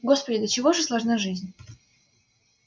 господи до чего же сложна жизнь